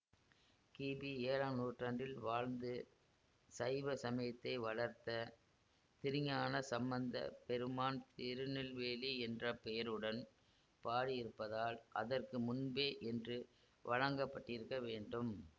கிபிஏழாம் நூற்றாண்டில் வாழ்ந்து சைவ சமயத்தை வளர்த்த திருஞானசம்பந்த பெருமான் திருநெல்வேலி என்ற பெயருடன் பாடியிருப்பதால் அதற்கு முன்பே என்று வழங்கப்பட்டிருக்க வேண்டும்